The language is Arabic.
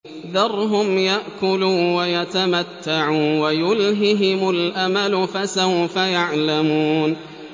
ذَرْهُمْ يَأْكُلُوا وَيَتَمَتَّعُوا وَيُلْهِهِمُ الْأَمَلُ ۖ فَسَوْفَ يَعْلَمُونَ